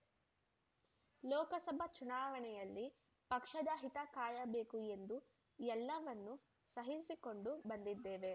ಲೋಕಸಭಾ ಚುನಾವಣೆಯಲ್ಲಿ ಪಕ್ಷದ ಹಿತ ಕಾಯಬೇಕು ಎಂದು ಎಲ್ಲವನ್ನು ಸಹಿಸಿಕೊಂಡು ಬಂದಿದ್ದೇವೆ